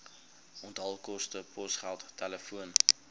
onthaalkoste posgeld telefoon